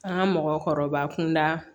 An ka mɔgɔkɔrɔba kunda